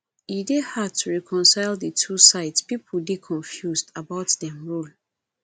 e dey hard to reconcile di two sides pipo dey confused about dem role